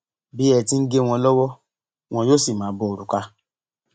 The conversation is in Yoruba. bí ẹ ti ń gé wọn lọwọ wọn yóò sì máa bo òrùka